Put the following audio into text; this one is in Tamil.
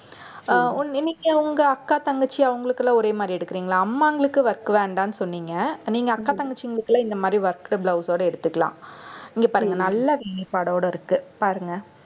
அஹ் இன்னைக்கு உங்க அக்கா தங்கச்சி அவங்களுக்கெல்லாம் ஒரே மாதிரி எடுக்கறீங்களா அம்மாங்களுக்கு work வேண்டான்னு சொன்னீங்க. நீங்க அக்கா தங்கச்சிங்களுக்கு எல்லாம் இந்த மாதிரி worked blouse ஓட எடுத்துக்கலாம். இங்க பாருங்க நல்லா வேலைப்பாடோட இருக்கு. பாருங்க